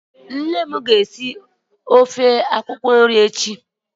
Nne m na-esi ofe akwụkwọ nri.